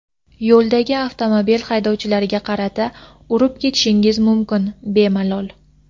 yo‘ldagi avtomobil haydovchilariga qarata Urib ketishingiz mumkin, bemalol.